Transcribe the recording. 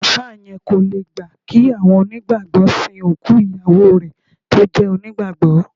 Àáfà yẹn kò le gbà kí àwọn onígbàgbọ́ sìn òkú ìyàwó rẹ tó jẹ́ onígbàgbọ́